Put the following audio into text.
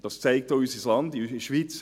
Das sieht man auch in der Schweiz.